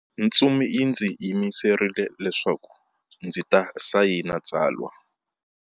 Ntsumi yi ndzi yimerile leswaku ndzi ta sayina tsalwa.